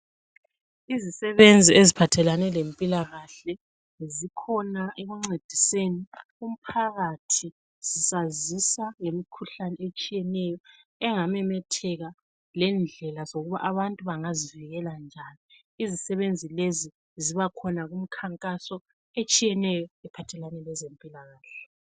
Izisebenzi eziphathelane lempilakahle zikhona ekuncediseni umphakathi besazisa ngemikhuhlane etshiyeneyo engamemetheka lendlela zokuba abantu bangazivikela njani. Izisebenzi lezi zibakhona kumkhankaso etshiyeneyo ephathelane lezempilakahle.